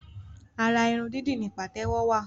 Ara irun dídì ni pàtẹ́wọ́ wa